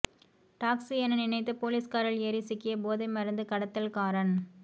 taxi என நினைத்து police காரில் ஏறி சிக்கிய போதைமருந்து கடத்தல்காரன்